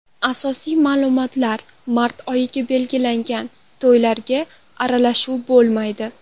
Asosiy ma’lumotlar Mart oyiga belgilangan to‘ylarga aralashuv bo‘lmaydi.